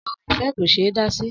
Ọ̀rọ̀ ìfẹ́ kò ṣe é dá sí.